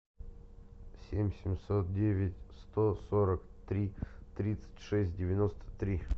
семь семьсот девять сто сорок три тридцать шесть девяносто три